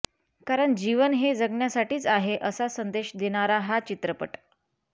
कारण जीवन हे जगण्यासाठीच आहे असा संदेश देणारा हा चित्रपट